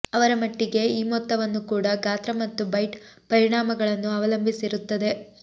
ಅವರ ಮಟ್ಟಿಗೆ ಈ ಮೊತ್ತವನ್ನು ಕೂಡ ಗಾತ್ರ ಮತ್ತು ಬೈಟ್ ಪರಿಣಾಮಗಳನ್ನು ಅವಲಂಬಿಸಿರುತ್ತದೆ